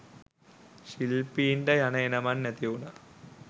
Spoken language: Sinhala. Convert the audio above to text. ශිල්පීන්ට යන එනමං නැතිවුණා